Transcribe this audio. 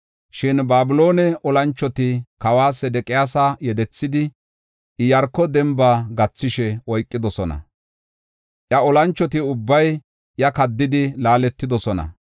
Shin Babiloone olanchoti kawa Sedeqiyaasa yedethidi, Iyaarko demba gathishe oykidosona. Iya olanchoti ubbay iya kaddidi laaletidosona.